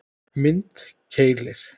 Mynd: Keilir